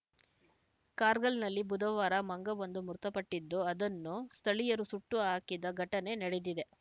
ಕಾರ್ಗಲ್‌ನಲ್ಲಿ ಬುಧವಾರ ಮಂಗವೊಂದು ಮೃತಪಟ್ಟಿದ್ದು ಅದನ್ನು ಸ್ಥಳೀಯರು ಸುಟ್ಟು ಹಾಕಿದ ಘಟನೆ ನಡೆದಿದೆ